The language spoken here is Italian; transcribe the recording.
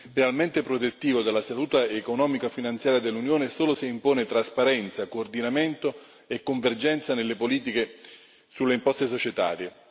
veramente protettivo della salute economico finanziara dell'Unione solo se impone trasparenza, coordinamento e convergenza nelle politiche sulle imposte societarie.